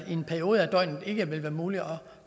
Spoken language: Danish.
i en periode af døgnet ikke vil være muligt at